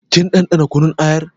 Kin ɗanɗana kunun ayar?